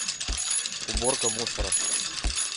уборка мусора